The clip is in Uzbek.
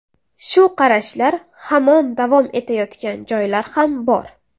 Shu qarashlar hamon davom etayotgan joylar ham bor.